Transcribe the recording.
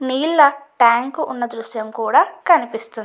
నీళ్ళ ట్యాంక్ ఉన్న దృశ్యం కూడా కనిపిస్తుంది.